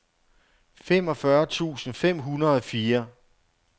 femogfyrre tusind fem hundrede og fire